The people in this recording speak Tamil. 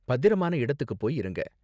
பத்திரமான இடத்துக்கு போய் இருங்க.